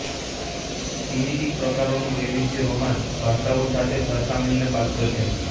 Sinitic પ્રકારોનું વૈવિધ્ય Romance ભાષાઓ સાથે સરખામણીને પાત્ર છે